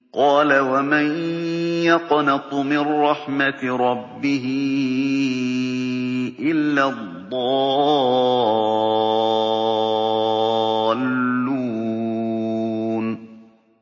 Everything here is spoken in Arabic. قَالَ وَمَن يَقْنَطُ مِن رَّحْمَةِ رَبِّهِ إِلَّا الضَّالُّونَ